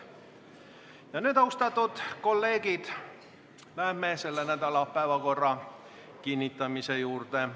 Ja nüüd, austatud kolleegid, läheme selle nädala päevakorra kinnitamise juurde.